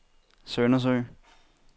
Søndersø